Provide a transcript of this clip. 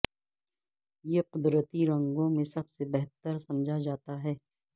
یہ قدرتی رنگوں میں سب سے بہتر سمجھا جاتا ہے